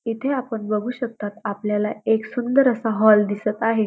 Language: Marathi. इथे आपण बघू शकतात आपल्याला एक सुंदर असा हॉल दिसत आहे.